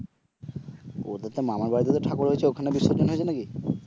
ও তোদের যে মা মামা বাড়িতে ঠাকুর হয়েছে ওখানে বিসর্জন হয়েছে নাকি